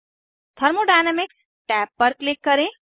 thermodynamics tab पर click करें